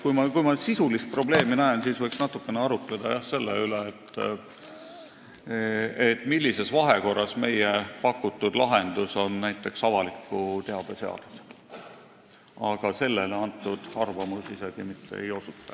Kui ma sisulist probleemi näen, siis võiks natukene arutleda selle üle, millises vahekorras meie pakutud lahendus on näiteks avaliku teabe seadusega, aga sellele valitsuse arvamus isegi mitte ei osuta.